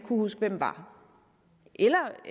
huske hvem er eller